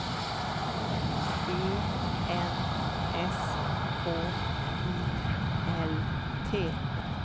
E N S K I L T